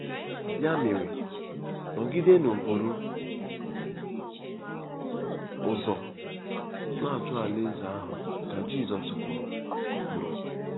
“Ya mere, nọgidenụ buru ụzọ na-achọ alaeze ahụ ,” ka Jizọs kwuru kwuru.